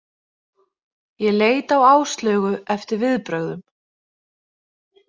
Ég leit á Áslaugu eftir viðbrögðum.